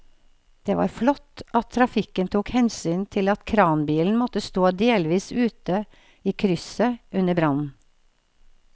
Det var flott at trafikken tok hensyn til at kranbilen måtte stå delvis ute i krysset under brannen.